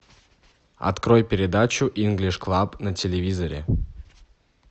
открой передачу инглиш клаб на телевизоре